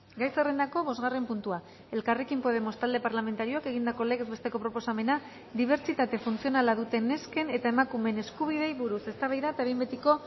gai zerrendako bosgarren puntua elkarrekin podemos talde parlamentarioak egindako legez besteko proposamena dibertsitate funtzionala duten nesken eta emakumeen eskubideei buruz eztabaida eta behin betiko